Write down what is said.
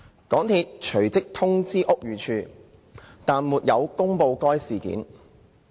港鐵隨即通知屋宇署但沒有公布該事件。